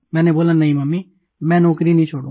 मैंने बोला नहीं मम्मी मैं नौकरी नहीं छोडूंगा